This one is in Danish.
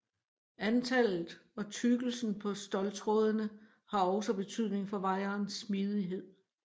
Antallet og tykkelsen på ståltrådene har også betydning for wirens smidighed